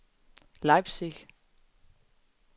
Leipzig